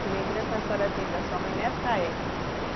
Que lembrança a senhora tem da sua mãe nessa época?